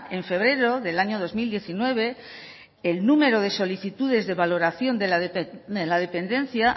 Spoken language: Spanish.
en febrero del año dos mil diecinueve el número de solicitudes de valoración de la dependencia